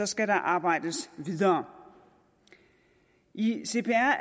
skal der arbejdes videre i cpr